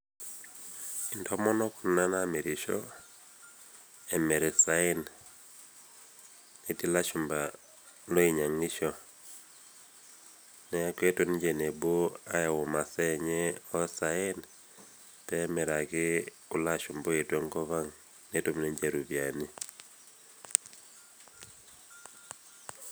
Intomonok kuna naamirisho emirr isaen, etii lashumpa loinyang'isho, neaku eetuo ninje ewuei nebo ayau masaa enye oosaen peemiraki kuloashumpa oetuo enkopang' netum ninche ropiani.